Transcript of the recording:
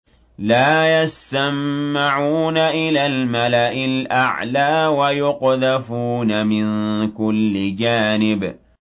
لَّا يَسَّمَّعُونَ إِلَى الْمَلَإِ الْأَعْلَىٰ وَيُقْذَفُونَ مِن كُلِّ جَانِبٍ